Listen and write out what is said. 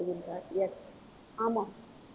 yes ஆமாம்.